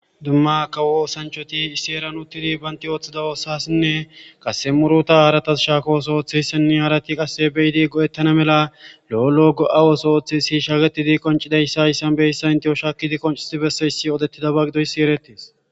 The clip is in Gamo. Dumma kawo oosanchchathi issi heeran uththidi banththi ooththida oosaasinne qassi muruthaa haarathas shaaho ooso ooththeesinne harathi qassi be7idi go7eththana mala lo7o lo7o go7a ooso ooththeesi shabeththidi qoccidayssa hayssan beyssan enththiyo shaakkidi qonccissi bessoyissi odeththidaba gidoyssi ereththes.